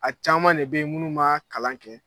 A caman de bɛ yen minnu m'a kalan kɛ